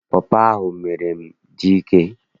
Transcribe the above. Pọpọ ahụ mere m dị ike.